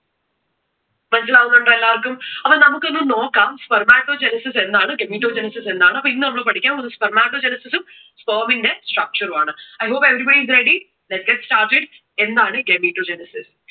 മനസിലാവുന്നുണ്ടോ എല്ലാവർക്കും? അപ്പോ നമുക്ക് ഒന്ന് നോക്കാം spermatogenesis എന്താണ് gametogenesis എന്താണ്? അപ്പോ ഇന്ന് നമ്മൾ പഠിക്കാൻ പോകുന്നത് spermatogenesis ഉം sperm ന്റെ structure ഉം ആണ്. I hope everybody is ready. Let's get started എന്താണ് ഈ gametogenesis?